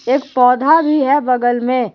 एक पौधा भी है बगल में।